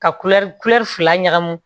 Ka kulɛri kulɛri fila ɲagamin